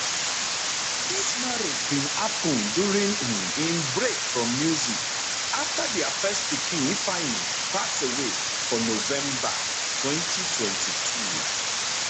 dis marriage bin happun during um im break from music afta dia first pikin ifeanyi pass away for november 2022